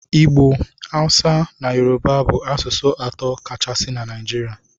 Igbo, Hausa na Yoruba bụ asụsụ atọ kachasị na Naịjirịa.